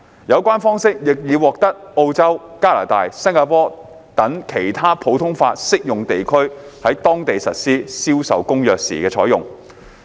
有關方式，亦已獲澳洲、加拿大及新加坡等其他普通法適用地區在當地實施《銷售公約》時採用。